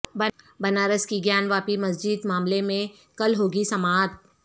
بنارس کی گیان واپی مسجد معاملہ میں کل ہوگی سماعت